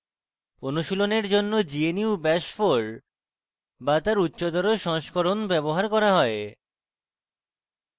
অনুশীলনের জন্য gnu bash 4 bash তার উচ্চতর সংস্করণ ব্যবহার করা হয়